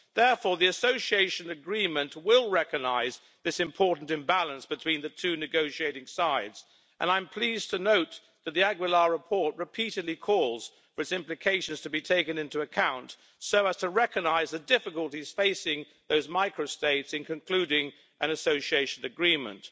Therefore, the Association Agreement will recognise this important imbalance between the two negotiating sides, and I'm pleased to note that the López Aguilar report repeatedly calls for its implications to be taken into account, so as to recognise the difficulties facing the micro states in concluding an association agreement.